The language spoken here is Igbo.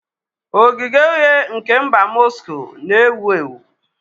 Ogige Uhie nke mba Moscow na bu ewu ewu.